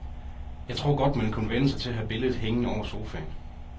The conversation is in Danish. Jeg tror godt, man kunne vænne sig til at have billedet hængende over sofaen.